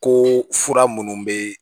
Ko fura minnu bɛ